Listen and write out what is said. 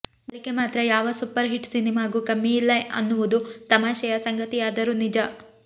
ಗಳಿಕೆ ಮಾತ್ರ ಯಾವ ಸೂಪರ್ ಹಿಟ್ ಸಿನಿಮಾಗೂ ಕಮ್ಮಿಯಿಲ್ಲ ಅನ್ನುವುದು ತಮಾಷೆಯ ಸಂಗತಿಯಾದರೂ ನಿಜ